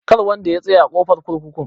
Kar wanda ya tsaya a ƙofar kurkukun.